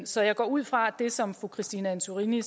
så jeg går ud fra at det som fru christine antorini